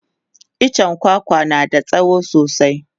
itchen kwakwa tana da tsawo sosai